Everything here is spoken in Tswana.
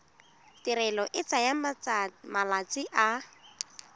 tirelo e tsaya malatsi a